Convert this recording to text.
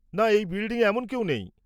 না, এই বিল্ডিংয়ে এমন কেউ নেই।